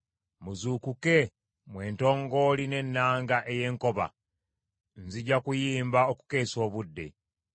Muzuukuke, mmwe entongooli n’ennanga ey’enkoba, nzija kuyimba okukeesa obudde.